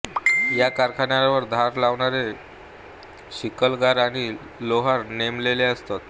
या कारखान्यावर धार लावणारे शिकलगार आणि लोहार नेमलेले असत